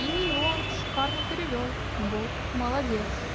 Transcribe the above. и он шикарно перевёл бот молодец